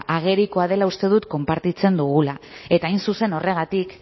agerikoa dela uste dut konpartitzen dugula eta hain zuzen horregatik